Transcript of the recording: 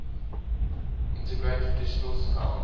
integrate traditional sounds